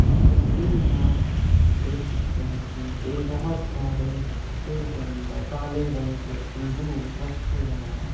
इस तस्वीर में आप देख सकते हैं कि एक बहोत सारे ट्रे के अंदर काले रंग के अंगूर रखे गए हैं।